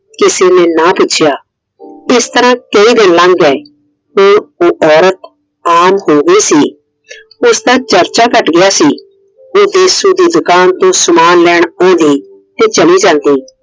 ਕਿਸੇ ਨੇ ਨਾ ਪੁੱਛਿਆ। ਇਸ ਤਰਹ ਕਈ ਦਿਨ ਲੰਗ ਗਏ। ਤੇ ਉਹ औरत ਆਮ ਹੋ ਗਈ ਸੀ। ਉਸ ਦਾ ਚਰਚਾ ਘੱਟ ਗਿਆ ਸੀ। ਉਹ ਦੇਸੁ ਦੀ ਦੁਕਾਨ ਤੇ ਸਮਾਨ ਲੈਣ ਆਉਂਦੀ ਤੇ ਚਲੀ ਜਾਂਦੀ।